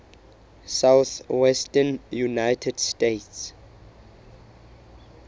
southwestern united states